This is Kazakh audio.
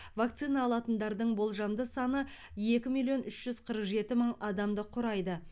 вакцина алатындардың болжамды саны екі миллион үш жүз қырық жеті мың адамды құрайды